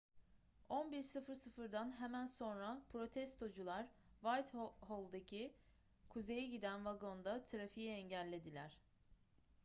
11.00'dan hemen sonra protestocular whitehall'daki kuzeye giden vagonda trafiği engellediler